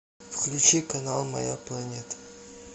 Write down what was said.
включи канал моя планета